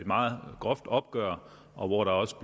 meget groft opgør og hvor der også